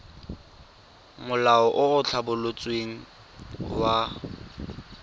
molao o o tlhabolotsweng wa